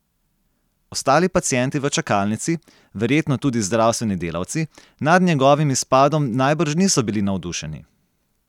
Ostali pacienti v čakalnici, verjetno tudi zdravstveni delavci, nad njegovim izpadom najbrž niso bili navdušeni.